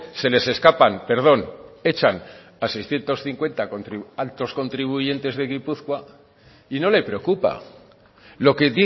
se les escapan perdón echan a seiscientos cincuenta altos contribuyentes de gipuzkoa y no le preocupa lo que